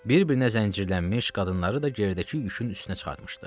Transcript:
Bir-birinə zəncirlənmiş qadınları da gerdəki yükün üstünə çıxartmışdı.